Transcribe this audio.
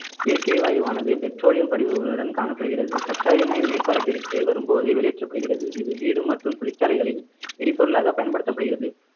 இயற்கை வாயுவானது பெட்ரோலியம் படிவுகளுடன் காணப்படுகிறது கச்சா எண்ணெய் மேற்பரப்பிற்கு வரும்போதே வெளியேற்றப்படுகிறது இது வீடு மற்றும் தொழிற்சாலைகளில் எரிபொருளாக பயன்படுத்தப்படுகிறது